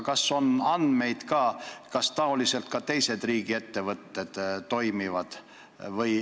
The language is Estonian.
Kas teil on andmeid, et samamoodi toimivad ka teised riigiettevõtted?